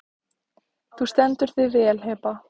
Þú stendur þig vel, Heba!